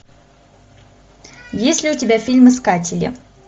есть ли у тебя фильм искатели